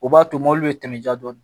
O b'a to mobili bɛ tɛmɛ dɔɔnin